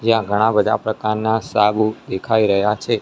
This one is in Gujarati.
ત્યાં ઘણા બધા પ્રકારના સાબુ દેખાય રહ્યા છે.